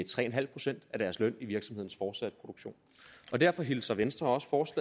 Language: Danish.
tre procent af deres løn i virksomhedens fortsatte produktion derfor hilser venstre også